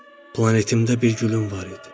Planetimdə bir gülüm var idi.